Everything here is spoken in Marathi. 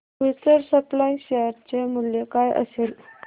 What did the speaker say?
फ्यूचर सप्लाय शेअर चे मूल्य काय असेल